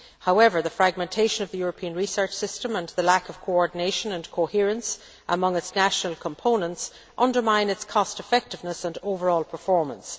However, the fragmentation of the European research system and the lack of coordination and coherence among its national components undermine its cost effectiveness and overall performance.